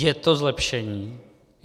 Je to zlepšení?